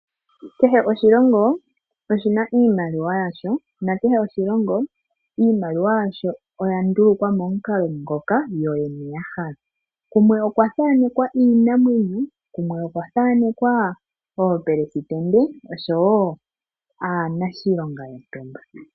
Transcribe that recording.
Kehe oshilongo oshi na iimaliwa yasho. Nakehe oshilongo iimaliwa yasho oya ndulukwa momukalo moka yoyene ya hala. Kumwe okwa thaanekwa iinamwenyo. Kumwe okwa thaanekwa oopelesitende oshowo aanashilonga yontumba.